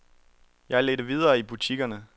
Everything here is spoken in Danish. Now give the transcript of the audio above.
Jeg ledte videre i butikkerne.